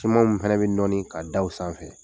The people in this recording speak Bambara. Siman ninnu fana bɛ nɔɔni ka da u sanfɛ